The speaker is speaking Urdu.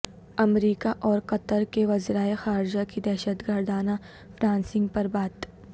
امریکہ اور قطر کے وزرائے خارجہ کی دہشت گردانہ فنانسنگ پر بات چیت